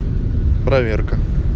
проверка